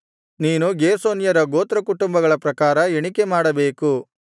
ನೀನು ಗೇರ್ಷೋನ್ಯರ ಗೋತ್ರಕುಟುಂಬಗಳ ಪ್ರಕಾರ ಎಣಿಕೆಮಾಡಬೇಕು